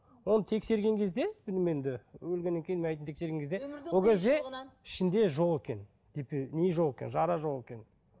оны тексерген кезде өлгеннен кейін мәйітін тексерген кезде ол кезде ішінде жоқ екен не жоқ екен жара жоқ екен